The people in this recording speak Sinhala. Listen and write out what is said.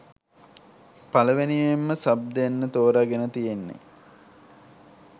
පළවෙනියෙන්ම සබ් දෙන්න තෝරගෙන තියෙන්නේ